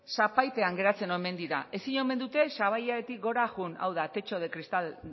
sabaipean geratzen omen dira ezin omen dute sabaitik gora joan hau da techo de cristal